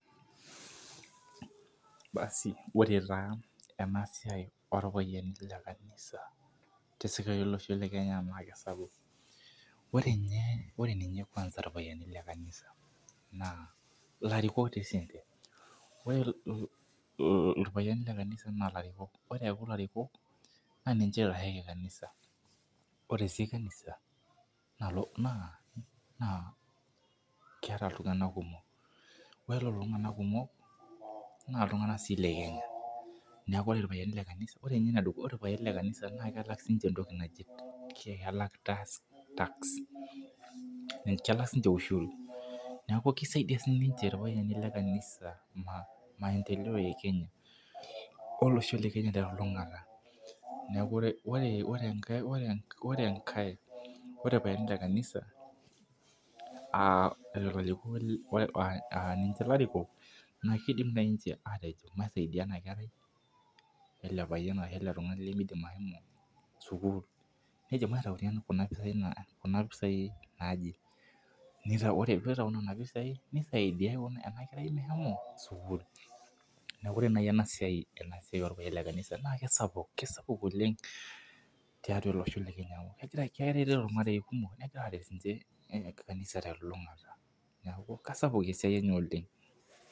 Ore taa enasiai oorpayiani le kanisa tolosho le kenya naa kisapuk. ore ninye irpayiani le kanisa naa ilarikok sii ninche, ilpayiani le kanisa. naa ilarikok. naa ninche oitasheki, kanisa. ore sii kanisa naa keeta iltunganak kumok. ore Lelo tunganak kumok naa iltunganak sii le Kenya ,neku ore ilpayiani le kanisa naa keeta sii ninche elaata,e task kelak sii ninche oshi task neeku kisaidia sii ninche ilpayiani le kanisa Ina , maendeleo e olosho le Kenya te lulungata. neeku ore enkae .ore. Ilpayiani le kanisa, aa ninche ilarikok, naa kidim naaji ninche aatejo naisaidia ena kerai, ele payian ashu ele tungani lemeidim ashomo sukuul, nidim aitayu Kuna pisai, naaje pee itayuni Nena pisai, nisaidia ena kerai meshomo sukuul. neeku ore naaji ena siai olpayiani le kanisa naa kisapuk oleng tiatua olosho le Kenya. neeku keret ilmarei kumok o kanisa. neku kisapuk esiai enye oleng.